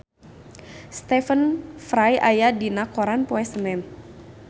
Stephen Fry aya dina koran poe Senen